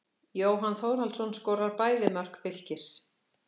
Jóhann Þórhallsson skorar bæði mörk Fylkis.